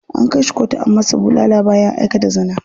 An kai shi kotu an masa bulala bayan ya aikata zina.